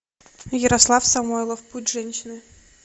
ярослав самойлов путь женщины